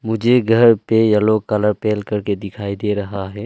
मुझे घर पे येलो कलर पेल करके दिखाई दे रहा है।